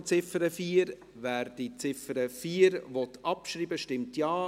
Wer die Ziffer 4 abschreiben will, stimmt Ja,